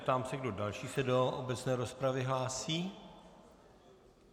Ptám se, kdo další se do obecné rozpravy hlásí.